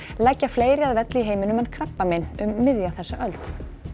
leggja fleiri að velli í heiminum en krabbamein um miðja þessa öld